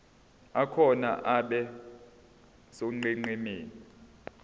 akhona abe sonqenqemeni